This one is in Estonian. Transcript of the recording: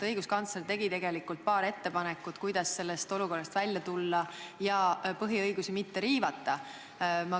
Õiguskantsler tegi tegelikult paar ettepanekut, kuidas sellest olukorrast välja tulla ja põhiõigusi mitte riivata.